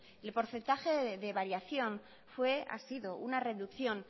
el porcentaje de variación fue ha sido una reducción